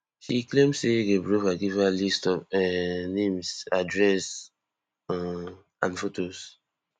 she claim say gaberova give her list of um names addresses um and fotos